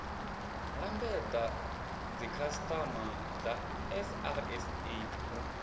lambedza dzikhasiama dza srsa u